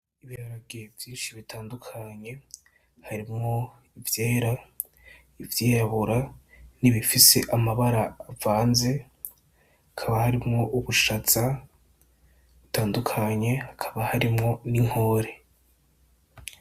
Ibiharage vyinshi bitandukanye harimwo ivyera ivyirabura nibifise amabara avanze hakaba harimwo ubushaza butandukanye hakaba harimwo n' inkore.